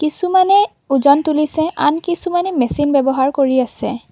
কিছুমানে ওজন তুলিছে আন কিছুমানে মেচিন ব্যৱহাৰ কৰি আছে।